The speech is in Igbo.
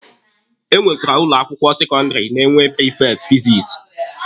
Enwekwara ụlọ akwụkwọ sekọndịrị na-enwe prifekti fizikisi.